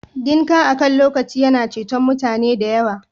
Dinka akan lokaci yana ceton mutane da yawa